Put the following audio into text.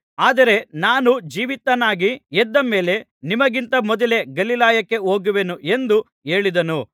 ಆದರೆ ನಾನು ಜೀವಿತನಾಗಿ ಎದ್ದ ಮೇಲೆ ನಿಮಗಿಂತ ಮೊದಲೇ ಗಲಿಲಾಯಕ್ಕೆ ಹೋಗುವೆನು ಎಂದು ಹೇಳಿದನು